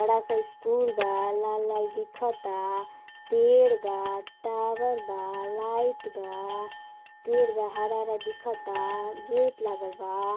बड़ा सा स्कूल बा लाल- लाल दिखता पेड़ बा टावर बा लाईट बा पेड़ बा हरा-हरा दिखता गेट लागल बा।